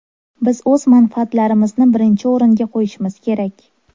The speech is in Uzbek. Biz o‘z manfaatlarimizni birinchi o‘ringa qo‘yishimiz kerak”.